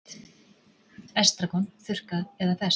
Estragon, þurrkað eða ferskt